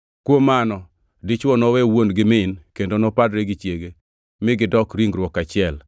Kuom mano, dichwo nowe wuon kod min kendo nopadre gi chiege; mi gidok ringruok achiel.